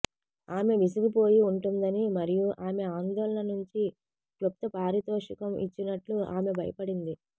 ఆమె విసిగిపోయి ఉంటుందని మరియు ఆమె ఆందోళననుంచి క్లుప్త పారితోషికం ఇచ్చినట్లు ఆమె భయపడింది